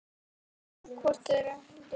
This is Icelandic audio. Hvort ég héldi það?